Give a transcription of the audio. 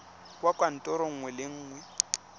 kwa kantorong nngwe le nngwe